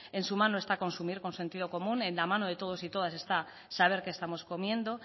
en su mano está consumir con sentido común en la mano de todos y todas está saber qué estamos comiendo